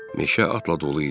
Meşə atla dolu idi.